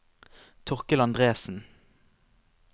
Torkel Andresen